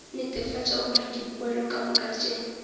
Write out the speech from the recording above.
netefatša gore dipoelo kamoka tše